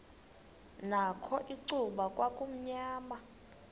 nakho icuba kwakumnyama